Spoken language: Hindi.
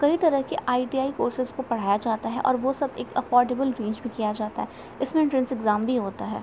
कई तरह के आई.टी.आई. कोर्सेस को पढ़ाया जाता है और वो सब एक अफॉर्डेबल रेंज में किया जाता। इसमें एन्ट्रेन्स ईग्जाम भी होता है।